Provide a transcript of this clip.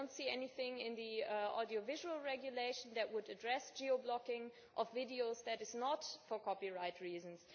I do not see anything in the audiovisual regulation that would address the geo blocking of videos that is not for copyright reasons.